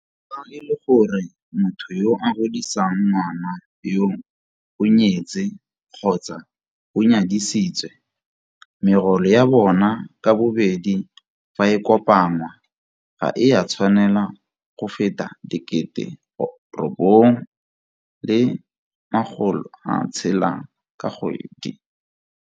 Fa e le gore motho yo a godisang ngwana yoo o nyetse kgotsa o nyadisitswe, megolo ya bona ka bobedi fa e kopanngwa ga e a tshwanela go feta R9 600 ka kgwedi.